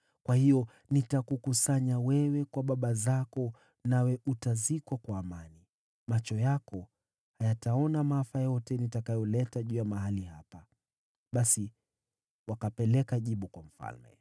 Kwa hiyo nitakukusanya kwa baba zako, nawe utazikwa kwa amani. Macho yako hayataona maafa yote nitakayoleta juu ya mahali hapa.’ ” Basi wakapeleka jibu lake kwa mfalme.